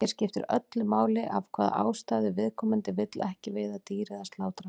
Hér skiptir öllu máli af hvaða ástæðu viðkomandi vill ekki veiða dýr eða slátra.